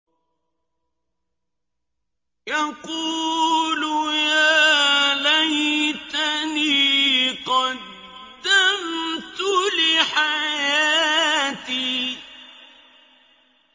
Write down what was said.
يَقُولُ يَا لَيْتَنِي قَدَّمْتُ لِحَيَاتِي